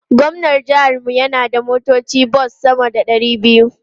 Gwamnan jihar mu yana da motocin bas sama da ɗari biyu.